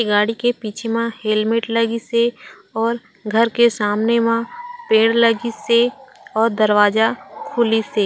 ए गाड़ी के पीछे म हेलमेट लगिस हे और घर के सामने मा पेड़ लगिस हे और दरवाजा खुलिस हे।